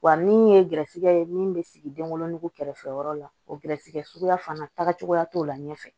Wa min ye gɛrɛsɛgɛ ye min bɛ sigi denwoloko kɛrɛfɛyɔrɔ la o gɛrɛsɛgɛ suguya fana tagacogoya t'o la ɲɛfɛ